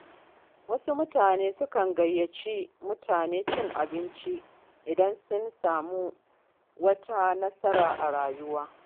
Wasu mutane sukan gayyaci mutane cin abinci idan sun samu wata nasara a rayuwa.